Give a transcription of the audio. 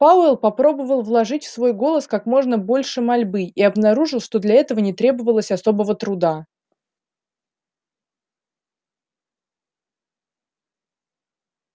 пауэлл попробовал вложить в свой голос как можно больше мольбы и обнаружил что для этого не требовалось особого труда